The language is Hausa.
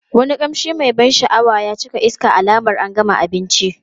Wani kamshi mai ban sha'awa ya cika iska alamar an gama abinci.